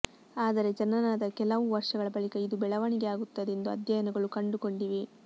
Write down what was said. ಆದರೆ ಜನನದ ಕೆಲವು ವರ್ಷಗಳ ಬಳಿಕ ಇದು ಬೆಳವಣಿಗೆಯಾಗುತ್ತದೆ ಎಂದು ಅಧ್ಯಯನಗಳು ಕಂಡುಕೊಂಡಿವೆ